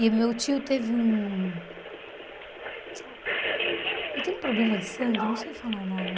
E meu tio teve um... Ele teve um problema de sangue, eu não sei falar o nome.